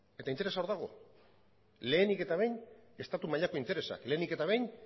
eta interesa hor dago lehenik eta behin estatu mailako interesa lehenik eta behin